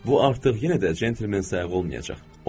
Bu artıq yenə də centlmen sayağı olmayacaq.